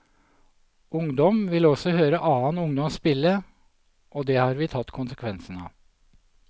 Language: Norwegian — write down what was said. Ungdom vil også høre annen ungdom spille, og det har vi tatt konsekvensen av.